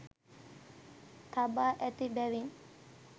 තබා ඇති බැවින්